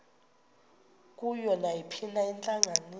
kuyo nayiphina intlanganiso